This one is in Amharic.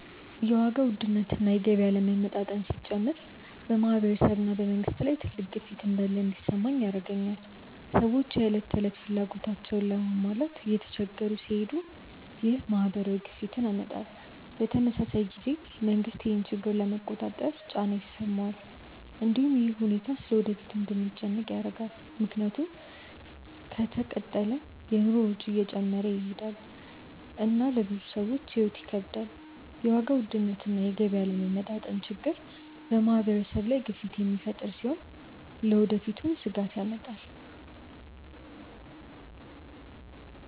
የዋጋ ውድነት እና የገቢ አለመመጣጠን ሲጨምር በማህበረሰብ እና በመንግስት ላይ ትልቅ ግፊት እንዳለ እንዲሰማኝ ያደርገኛል። ሰዎች የዕለት ተዕለት ፍላጎታቸውን ለመሟላት እየተቸገሩ ሲሄዱ ይህ ማህበራዊ ግፊትን ያመጣል። በተመሳሳይ ጊዜ መንግስትም ይህን ችግር ለመቆጣጠር ጫና ይሰማዋል። እንዲሁም ይህ ሁኔታ ስለ ወደፊቱ እንድንጨነቅ ያደርጋል፣ ምክንያቱም ከተቀጠለ የኑሮ ወጪ እየጨመረ ይሄዳል እና ለብዙ ሰዎች ሕይወት ይከብዳል። የዋጋ ውድነት እና የገቢ አለመመጣጠን ችግር በማህበረሰብ ላይ ግፊት የሚፈጥር ሲሆን ለወደፊትም ስጋት ያመጣል።